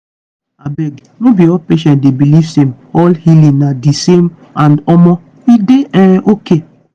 abeg no be all patient dey believe same all healing na di same and omo e dey um okay.